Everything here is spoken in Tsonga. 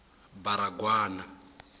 baragwana